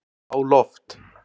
á loft